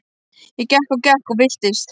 Ég gekk og gekk og villtist.